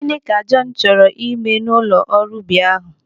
Gịnị ka Jọn chọrọ ime n'ụlọ ọrụ ubi ahụ?